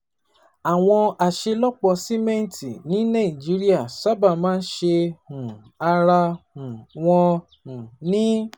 Àwọn aṣelọpọ simẹnti ní Nàìjíríà sábà máa ń ṣe um ara um wọn um ni